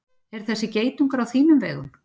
Er þessi geitungur á þínum vegum?